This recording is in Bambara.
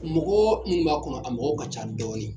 Mɔgɔɔ minnu b'a kɔnɔ a mɔgɔw ka ca dɔɔni